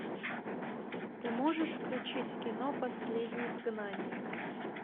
ты можешь включить кино последний изгнанник